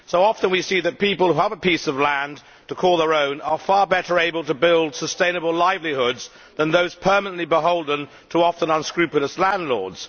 Often we see that people who have a piece of land to call their own are far better able to build sustainable livelihoods than those permanently beholden to often unscrupulous landlords.